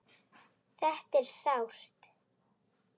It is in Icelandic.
Þetta er sárt.